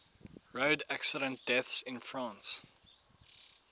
road accident deaths in france